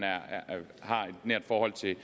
har et nært forhold til